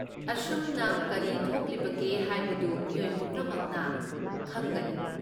ꯑꯁꯨꯝꯅ ꯀꯔꯤ ꯊꯣꯛꯂꯤꯕꯒꯦ ꯍꯥꯏꯕꯗꯨ ꯃꯤꯑꯣꯏ ꯄꯨꯝꯅꯃꯛꯅ ꯈꯪꯒꯅꯤ꯫